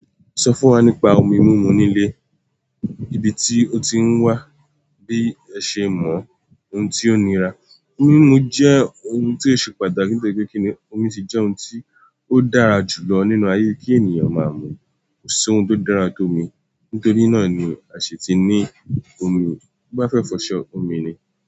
Sọ fún wa nípa omi mímu ní ilé, ibi tí o ti ń wá a, bí ẹ ṣe mọ̀, àti ohun tó ní í ṣe pẹ̀lú rẹ̀. Mímu omi jẹ́ ohun tí ó ṣe pàtàkì, nítorí pé omi ni ohun tí ó dára jù lọ fún ènìyàn láti máa mu. Kò sí ohun tó dára tó omi nítorí náà ni a ṣe ti ní omi. Ó bá fẹ́ fọṣọ, omi ni.